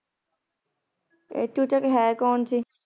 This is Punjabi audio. ਤੇ ਚੂਚਕ ਹੈ ਕੋੰ ਸੀ